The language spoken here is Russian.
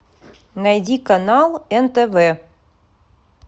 найди канал нтв